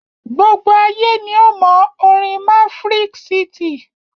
Gbigbọ ayé ni o mo orin Maverick city.